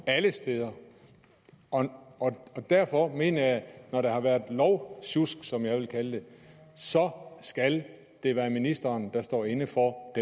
alle steder derfor mener jeg at når der har været lovsjusk som jeg vil kalde det så skal det være ministeren der står inde for